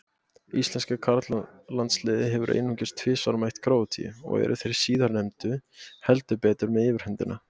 Íslenska karlalandsliðið hefur einungis tvisvar mætt Króatíu og eru þeir síðarnefndu heldur betur með yfirhöndina.